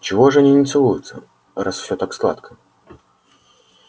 чего же они не целуются раз всё так сладко